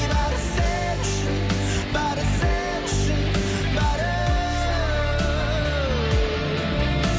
бәрі сен үшін бәрі сен үшін бәрі